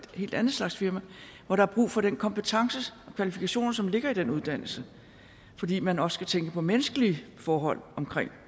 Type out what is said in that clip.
helt anden slags firma hvor der er brug for den kompetence og de kvalifikationer som ligger i den uddannelse fordi man også skal tænke på menneskelige forhold